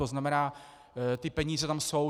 To znamená, ty peníze tam jsou.